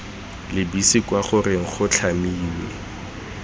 lebise kwa goreng go tlhamiwe